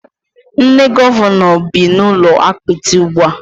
Nne Gọvanọ bị n'ụlọ apịtị ugbua